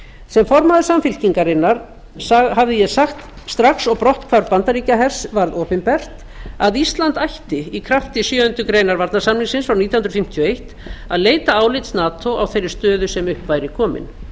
sem formaður samfylkingarinnar hafði ég sagt strax og brotthvarf bandaríkjahers varð opinbert að ísland ætti í krafti sjöundu greinar varnarsamningsins frá nítján hundruð fimmtíu og eitt að leita álits nato á þeirri stöðu sem upp væri komin